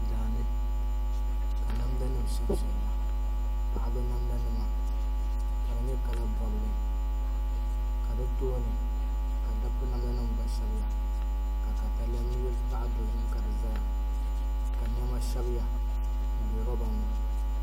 Daani ka namda nim shɛbi shɛbiya paɣaba namda nima ka di nyɛ kala bobli ka di tooni ka dabba namda nim gba shɛbiya ka katalɛm zaɣ dozim ka di ʒɛya ka niɛma shɛbiya n bɛ roba ni